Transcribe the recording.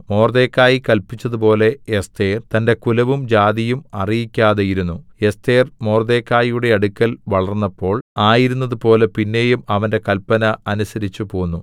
മൊർദെഖായി കല്പിച്ചതുപോലെ എസ്ഥേർ തന്റെ കുലവും ജാതിയും അറിയിക്കാതെയിരുന്നു എസ്ഥേർ മൊർദെഖായിയുടെ അടുക്കൽ വളർന്നപ്പോൾ ആയിരുന്നതുപോലെ പിന്നെയും അവന്റെ കല്പന അനുസരിച്ചു പോന്നു